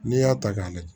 N'i y'a ta k'a lajɛ